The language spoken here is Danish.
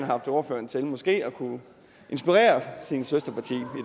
haft ordføreren til måske at kunne inspirere sit søsterparti